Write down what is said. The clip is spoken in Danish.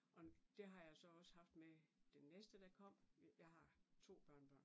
Og det har jeg så også haft med den næste der kom, jeg har to børnebørn